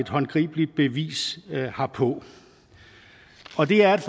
håndgribeligt bevis herpå og det er